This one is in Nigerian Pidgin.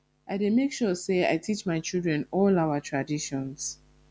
i dey make sure sey i teach my children all our traditions